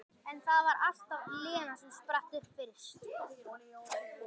En það var alltaf Lena sem spratt upp fyrst.